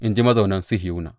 in ji mazaunan Sihiyona.